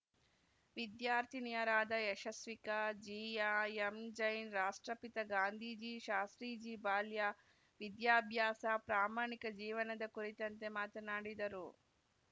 ವಿದ್ಯಾರ್ಥಿನಿಯರಾದ ಯಶಸ್ವಿಕಾ ಜೀಯಾ ಎಂಜೈನ್‌ ರಾಷ್ಟ್ರಪಿತ ಗಾಂಧೀಜಿ ಶಾಸ್ತ್ರೀಜಿ ಬಾಲ್ಯ ವಿದ್ಯಾಭ್ಯಾಸ ಪ್ರಾಮಾಣಿಕ ಜೀವನದ ಕುರಿತಂತೆ ಮಾತನಾಡಿದರು